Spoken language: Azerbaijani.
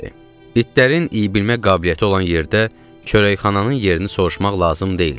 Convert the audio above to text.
İtlərin iyi bilmə qabiliyyəti olan yerdə çörəkxananın yerini soruşmaq lazım deyildi.